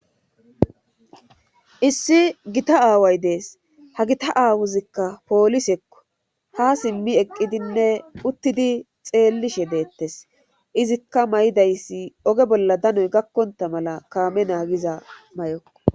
issi gita aaway dees ha gita aawuzikka poolisekko ha simmi eqqidinne uttidi xeellishe deettes izikka may7idayssi oge bolla danoy gakkonta mala kaame naagiza may7okko